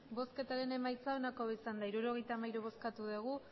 emandako botoak hirurogeita hamairu bai